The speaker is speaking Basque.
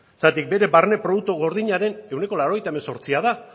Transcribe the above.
zergatik bere barne produktu gordinaren ehuneko laurogeita hemezortzia da